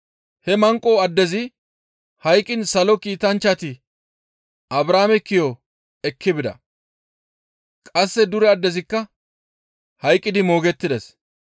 «He manqo addezi hayqqiin Salo Kiitanchchati Abrahaame ki7o ekki bida; qasse dure addezikka hayqqidi moogettides.